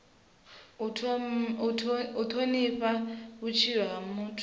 u thonifha vhutshilo ha muthu